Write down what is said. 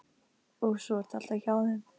Og svo ertu alltaf hjá þeim.